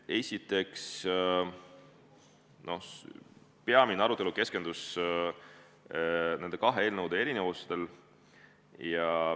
Esiteks, peamine arutelu keskendus nende kahe eelnõu erinevustele.